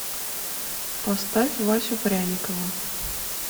поставь васю пряникова